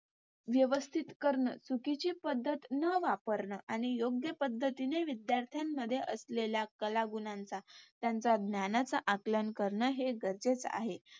व्यवस्थित करण. चुकीची पद्धत न वापरण आणि योग्य पद्धतीने विद्यार्थ्या मध्ये असलेल्या कलागुणांचा, त्यांचा ज्ञानाचा, आकलन करण हे गरजेचं आहे.